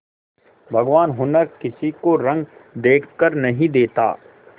भगवान हुनर किसी को रंग देखकर नहीं देता